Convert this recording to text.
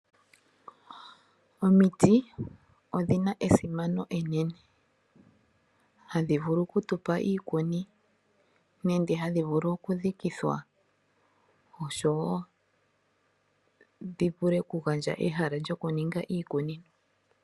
Omiti odhi na esimano enene, hadhi vulu oku tu pa iikuni nenge hadhi vulu oku dhikithwa oshowo dhi vule oku gandja ehala lyokuninga iikunino.